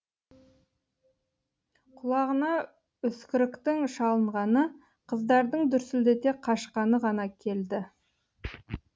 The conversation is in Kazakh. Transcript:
құлағына үскіріктің шалынғаны қыздардың дүрсілдете қашқаны ғана келді